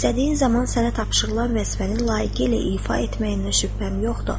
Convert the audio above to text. İstədiyin zaman sənə tapşırılan vəzifəni layiqincə ifa etməyinə şübhəm yoxdur.